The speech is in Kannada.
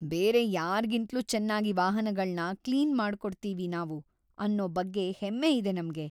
ಬೇರೆ ಯಾರ್ಗಿಂತಲೂ ಚೆನ್ನಾಗಿ ವಾಹನಗಳ್ನ ಕ್ಲೀನ್ ಮಾಡ್ಕೊಡ್ತೀವಿ ನಾವು ಅನ್ನೋ ಬಗ್ಗೆ ಹೆಮ್ಮೆ ಇದೆ ನಮ್ಗೆ.